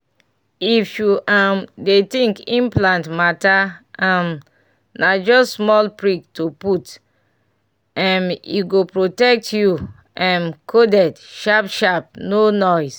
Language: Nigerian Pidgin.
if u um dey think implant mata um na jst small prick to put m e go protect u um coded sharp sharp no noise.